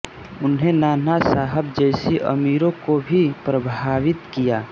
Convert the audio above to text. उन्हें नाना साहेब जैसे अमीरों को भी प्रभावित किया